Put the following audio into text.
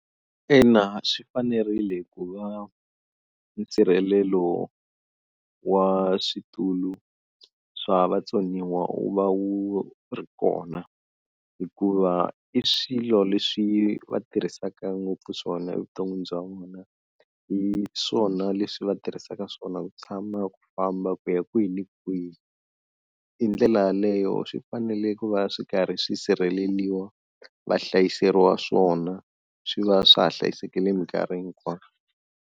Ina swi fanerile ku va nsirhelelo wa switulu swa vatsoniwa wu va wu ri kona hikuva i swilo leswi va tirhisaka ngopfu swona evuton'wini bya vona hi swona leswi va tirhisaka swona ku tshama ku famba ku ya kwihi ni kwihi hindlela yaleyo swi fanele ku va swi karhi swi sirheleliwa va hlayiseriwa swona swi va swa ha hlayisekile minkarhi hinkwayo.